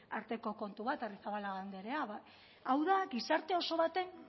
arteko kontu bat arrizabalaga andrea hau da gizarte oso baten